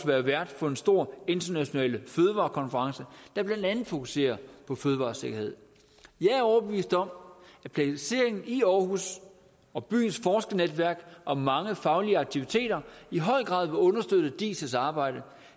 være vært for en stor international fødevarekonference der blandt andet fokuserer på fødevaresikkerhed jeg er overbevist om at placeringen i aarhus og byens forskernetværk og mange faglige aktiviteter i høj grad vil understøtte diis arbejde